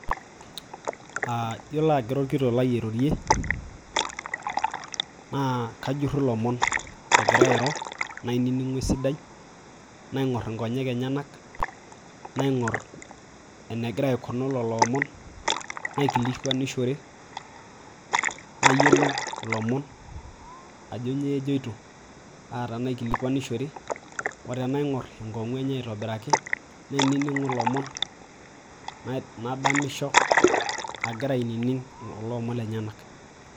Aaa yiolo aagira orkitok lai airorie naakajuru ilomon egira airo nainining'u esidai naing'or inkonyek enyanak naing'or enegira aikunu lelo omon naikilikuanishore nayiolou ilomon ajo nyooo ejoito aa taanaikilikwanishore otenaing'or enkong'u enye aitobiraki nainining'u ilomon nadamisho agira ainining kulo omon lenyanak.